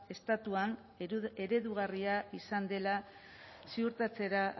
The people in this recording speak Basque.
estatuan eredugarria izan dela ziurtatzera